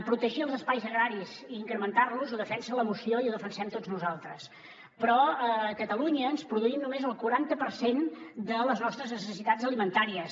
protegir els espais agraris i incrementar los ho defensa la moció i ho defensem tots nosaltres però a catalunya ens produïm només el quaranta per cent de les nostres necessitats alimentàries